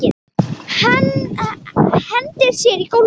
Hendir sér á gólfið.